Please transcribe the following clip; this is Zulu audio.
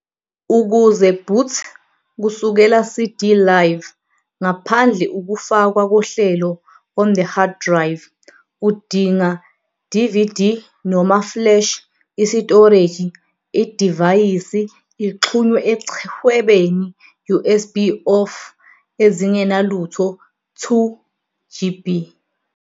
Ukuze Boot kusukela CD Live, ngaphandle ukufakwa kohlelo on the hard drive, udinga DVD noma flash isitoreji idivayisi ixhunywe echwebeni USB of ezingenalutho 2 GB.